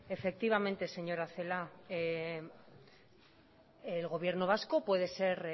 efectivamente señora celáa el gobierno vasco puede ser